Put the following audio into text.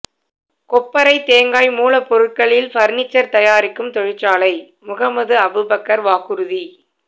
கொப்பரை தேங்காய் மூலப்பொருட்களில் பர்னிச்சர் தயாரிக்கும் தொழிற்சாலை முகமது அபூபக்கர் வாக்குறுதி